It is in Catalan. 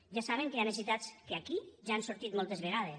ja saben que hi ha necessitats que aquí ja han sortit moltes vegades